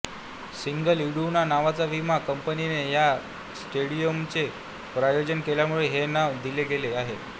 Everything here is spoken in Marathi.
सिग्नल इडूना नावाच्या विमा कंपनीने ह्या स्टेडियमचे प्रायोजन केल्यामुळे हे नाव दिले गेले आहे